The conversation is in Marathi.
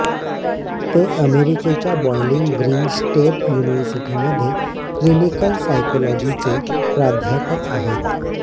ते अमेरिकेच्या बॉईलिंग ग्रीन स्टेट यूनिव्हर्सिटीमध्ये क्लिनिकल सायकोलॉजीचे प्राध्यापक आहेत